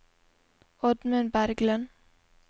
Oddmund Berglund